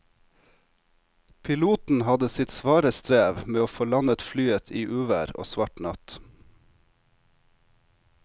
Piloten hadde sitt svare strev med å få landet flyet i uvær og svart natt.